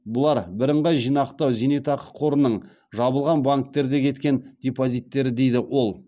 бұлар бірынғай зейнетақы жинақтау қорының жабылған банктерде кеткен депозиттері дейді ол